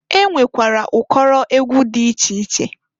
E nwekwara ụkọrọ egwu dị iche iche.